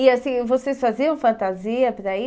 E assim, vocês faziam fantasia para ir?